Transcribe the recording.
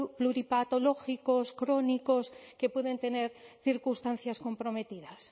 pluripatológicos crónicos que pueden tener circunstancias comprometidas